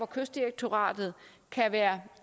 kystdirektoratet kan være